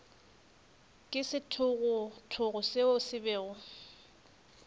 ke sethogothogo seo se bego